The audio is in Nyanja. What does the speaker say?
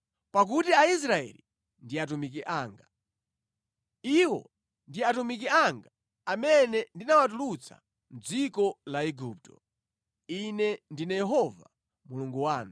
pakuti Aisraeli ndi atumiki anga. Iwo ndi atumiki anga amene ndinawatulutsa mʼdziko la Igupto. Ine ndine Yehova Mulungu wanu.